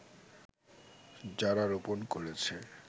যারা রোপন করেছে